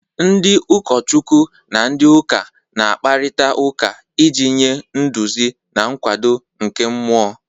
Ndị ụkọchukwu na ndị ụka na-akparịta ụka iji nye nduzi na nkwado nke mmụọ